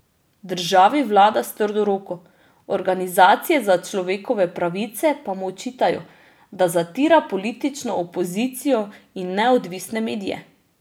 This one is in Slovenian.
Državi vlada s trdo roko, organizacije za človekove pravice pa mu očitajo, da zatira politično opozicijo in neodvisne medije.